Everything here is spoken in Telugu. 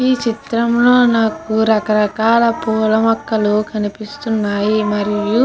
ఈ చిత్రం లో నాకు రక రకాల పూలమొక్కలు కనిపిస్తున్నాయి మరియు --